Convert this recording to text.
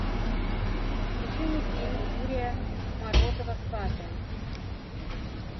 включи мне фильм юрия морозова сваты